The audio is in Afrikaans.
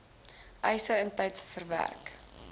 eise intyds verwerk